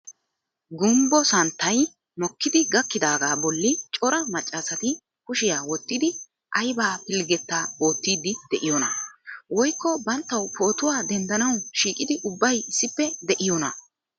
Gumbbo santtay mikkidi gakkidaaga bolli cora maccaasati kushiyaa wottidi aybba pilggetaootide de'iyoona? Woykko banttaw pootuwa denddanaw shiiqidi ubbay issippe de'iyoona?